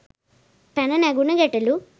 පැන නැගුන ගැටලු?